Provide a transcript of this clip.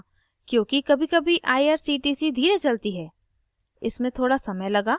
मैंने इसे रोका था क्योंकि कभीकभी irctc धीरे चलती है